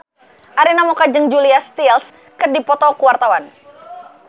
Arina Mocca jeung Julia Stiles keur dipoto ku wartawan